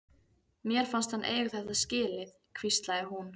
Mér fannst hann eiga þetta skilið- hvíslaði hún.